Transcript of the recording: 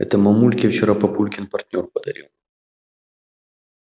это мамульке вчера папулькин партнёр подарил